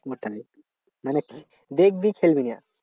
বসে থাকবি মানে দেখবি খেলবি না।